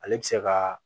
Ale bɛ se ka